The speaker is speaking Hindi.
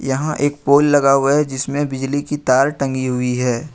यहां एक पोल लगा हुआ है जिसमें बिजली की तार टंगी हुई है।